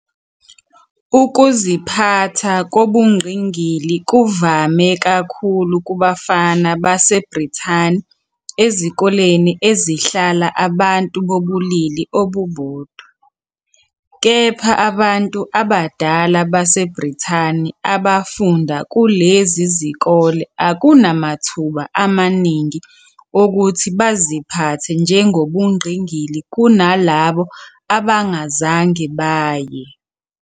Ukuziphatha kobungqingili kuvame kakhulu kubafana baseBrithani ezikoleni ezihlala abantu bobulili obubodwa, kepha abantu abadala baseBrithani abafunda kulezi zikole akunamathuba amaningi okuthi baziphathe njengobungqingili kunalabo abangazange baye.